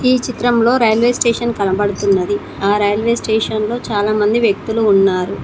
ఈ చిత్రంలో railway station కనబడుతున్నది ఆ రైల్వే స్టేషన్ లో చాలామంది వ్యక్తులు ఉన్నారు.